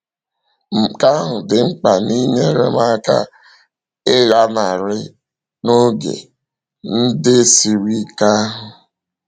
Nke ahụ dị mkpa n’inyere m aka ịlanarị n’oge ndị siri ike ahụ.